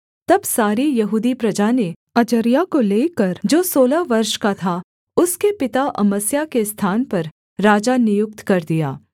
तब सारी यहूदी प्रजा ने अजर्याह को लेकर जो सोलह वर्ष का था उसके पिता अमस्याह के स्थान पर राजा नियुक्त कर दिया